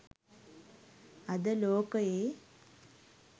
අද ලෝක‍යේ